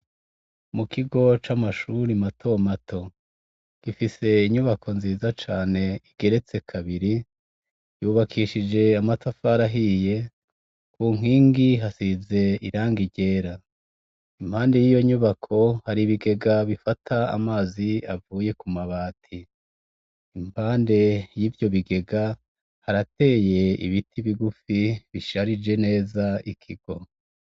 Mu kigo c'amashuri matomato gifise inyubako nziza cane igeretse kabiri yubakishije amata farahiye ku nkingi hasize iranga ryera impandi y'iyo nyubako hari ibigega bifata amazi avuye ku mabati impande y'ivyo bigega harateye ibiti bigufi bisharije neza ikigo.